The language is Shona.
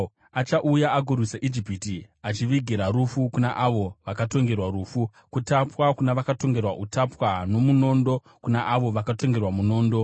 Achauya agorwisa Ijipiti, achivigira rufu kuna avo vakatongerwa rufu, kutapwa kuna vakatongerwa utapwa, nomunondo kuna avo vakatongerwa munondo.